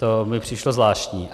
To mi přišlo zvláštní.